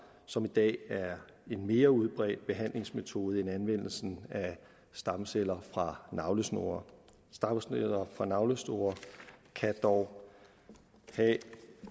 som i dag er en mere udbredt behandlingsmetode end anvendelsen af stamceller fra navlesnore stamceller fra navlesnore kan dog have